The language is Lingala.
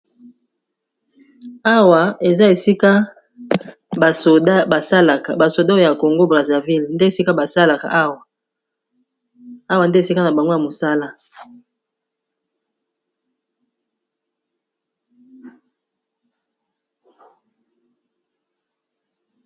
awa eza esika basalaka basodoo ya congo braserville awa nde esika na bangwa ya mosala